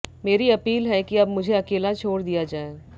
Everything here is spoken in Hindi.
मेरी अपील है कि अब मुझे अकेला छोड़ दिया जाए